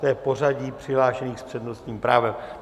To je pořadí přihlášených s přednostním právem.